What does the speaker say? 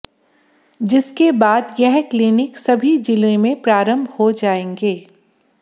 जिसके बाद यह क्लीनिक सभी जिले में प्रारंभ हो जायेंगे